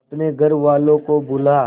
अपने घर वालों को बुला